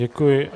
Děkuji.